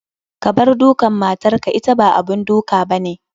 Kabar dukan matar ka, ita ba abun duk abane.